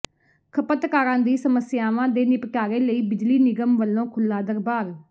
ਖ਼ਪਤਕਾਰਾਂ ਦੀ ਸਮੱਸਿਆਵਾਂ ਦੇ ਨਿਪਟਾਰੇ ਲਈ ਬਿਜਲੀ ਨਿਗਮ ਵਲੋਂ ਖੁਲ੍ਹਾ ਦਰਬਾਰ